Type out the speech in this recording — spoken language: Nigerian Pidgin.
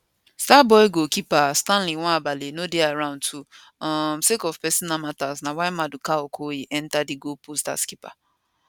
starboy goalkeeper stanley nwabali no dey around too um sake of personal matter na why maduka okoye enta di goalpost as keeper